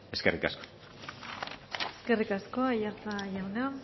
eskerrik asko eskerrik asko aiartza jauna